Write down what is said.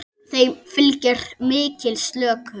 Þeim fylgir mikil slökun.